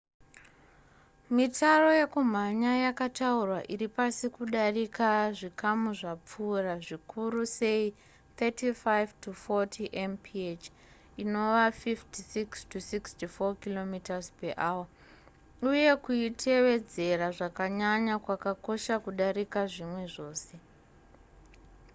mitaro yekumhanya yakataurwa iri pasi kudarika zvikamu zvapfuura_ zvikuru sei 35-40 mph 56-64 km/h - uye kuitevedzera zvakanyanya kwakakosha kudarika zvimwe zvose